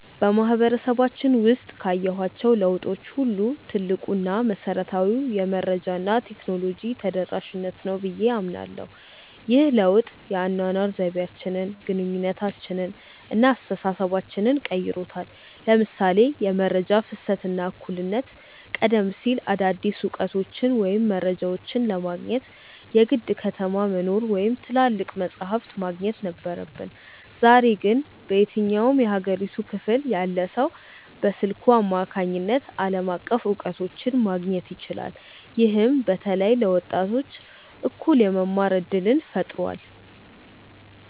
በማህበረሰባችን ውስጥ ካየኋቸው ለውጦች ሁሉ ትልቁ እና መሰረታዊው ነገር "የመረጃ እና የቴክኖሎጂ ተደራሽነት" ነው ብዬ አምናለሁ። ይህ ለውጥ የአኗኗር ዘይቤያችንን፣ ግንኙነታችንን እና አስተሳሰባችንን ቀይሮታል ለምሳሌ የመረጃ ፍሰት እና እኩልነት ቀደም ሲል አዳዲስ እውቀቶችን ወይም መረጃዎችን ለማግኘት የግድ ከተማ መኖር ወይም ትላልቅ መጻሕፍት ማግኘት ነበረብን። ዛሬ ግን በየትኛውም የሀገሪቱ ክፍል ያለ ሰው በስልኩ አማካኝነት ዓለም አቀፍ እውቀቶችን ማግኘት ይችላል። ይህም በተለይ ለወጣቶች እኩል የመማር እድልን ፈጥሯል።